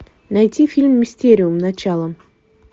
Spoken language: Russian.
найти фильм мистериум начало